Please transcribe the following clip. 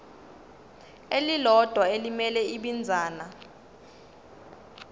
elilodwa elimele ibinzana